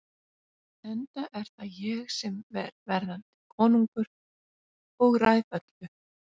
Enda er það ég sem er verðandi konungur og ræð öllu.